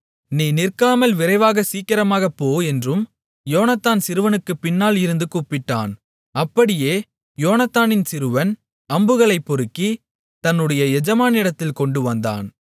நீ நிற்காமல் விரைவாக சீக்கிரமாகப் போ என்றும் யோனத்தான் சிறுவனுக்குப் பின்னால் இருந்து கூப்பிட்டான் அப்படியே யோனத்தானின் சிறுவன் அம்புகளைப் பொறுக்கி தன்னுடைய எஜமானிடத்தில் கொண்டு வந்தான்